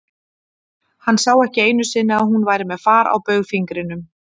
Hann sá ekki einu sinni að hún væri með far á baugfingrinum.